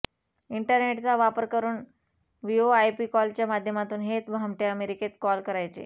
इंटरनेटचा वापर करून व्हीओआयपी कॉलच्या माध्यमातून हे भामटे अमेरिकेत कॉल करायचे